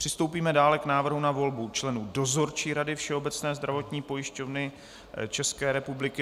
Přistoupíme dále k návrhu na volbu členů Dozorčí rady Všeobecné zdravotní pojišťovny České republiky.